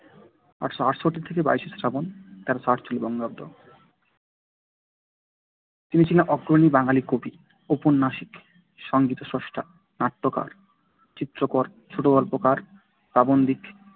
আটশো আটষট্টি থেকে বাইশশ্রাবণ তেরোশো আটচল্লিশ বঙ্গাব্দ তিনি ছিলেন অগ্রণী বাঙালি কবি ঔপন্যাসিক সংগীতস্রষ্টা নাট্যকার চিত্রকর ছোটগল্পকার প্রাবন্ধিক